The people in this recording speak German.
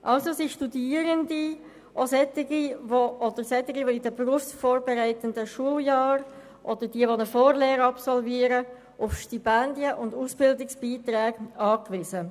Also sind Studierende und auch junge Menschen in berufsvorbereitenden Schuljahren oder Vorlehren auf Stipendien und Ausbildungsbeiträge angewiesen.